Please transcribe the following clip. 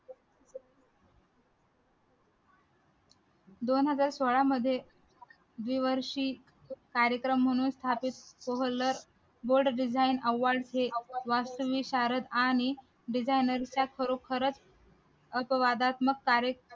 दोन हजार सोहळा मध्ये कार्यक्रम म्हणून स्थापित world design award हे वास्तु विशारद आणि designer चा खरोखरच कार्य